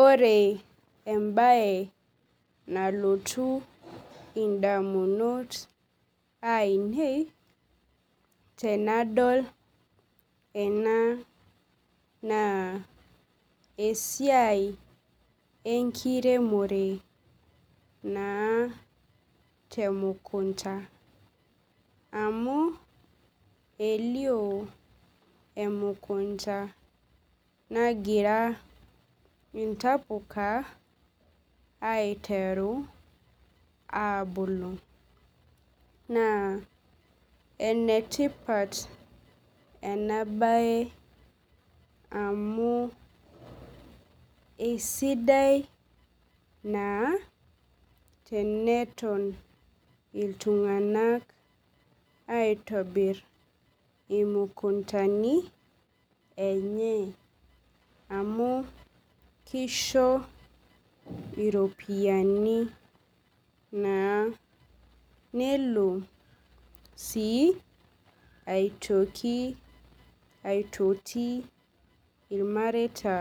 Ore embae nalotu ndamunot ainei tenadol ena na esiai enkiremore naa temukunda amu elio emukunda nagira intapuka aiteru abulu na enetipat enabae amu eisidai naa teneton ltunganak aitonir imukundani enye amu kisho ropiyani nelo sii aitoki aitoti irmareita